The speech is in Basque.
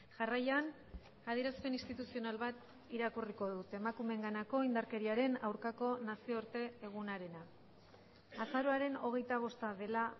jarraian adierazpen instituzional bat irakurriko dut emakumeenganako indarkeriaren aurkako nazioarte egunarena azaroaren hogeita bosta dela